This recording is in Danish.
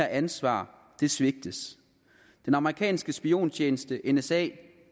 ansvar svigtes den amerikanske spiontjeneste nsa